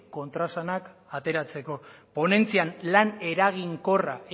kontraesanak ateratzeko ponentzian lan eraginkorra